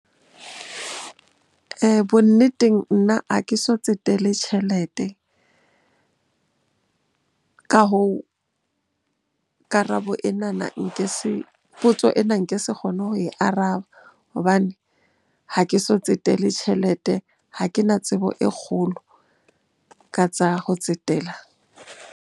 Bonneteng, nna ha ke so tsetele tjhelete. Ka hoo, karabo enana nke se, potso ena nke se kgone ho e araba hobane ha ke so tsetele tjhelete. Ha ke na tsebo e kgolo ka tsa ho tsetela.